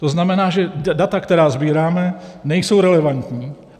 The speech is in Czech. To znamená, že data, která sbíráme, nejsou relevantní.